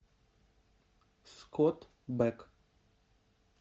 скотт бек